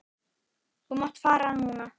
Þú mátt fara núna.